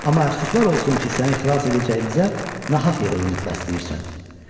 Amma əfsuslar olsun ki, səni xilas edəcəyimizə nahaq yerə ümid bəsləyirsən.